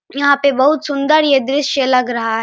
यहाँ पे बहोत सुंदर यह दृश्य लग रहा है।